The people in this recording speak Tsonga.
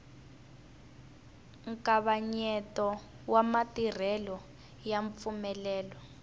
nkavanyeto wa matirhelo ya mpfumelelo